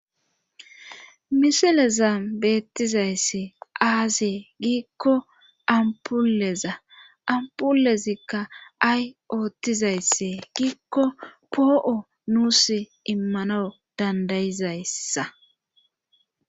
misilezan beettizaysse aazee giikko ampuleza ampulezikka ay oottizaysse giikko poo7o nuus immanwu dandayizayssa